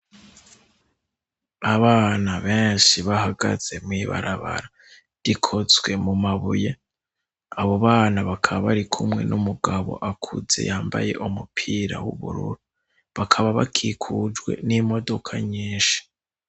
Abana benshi bahagaze mwibarabara rikozswe mu mabuye abo bana bakaba bari kumwe n'umugabo akuze yambaye umupira w'ubururu bakaba bakikujwe n'imodoka nyinshi.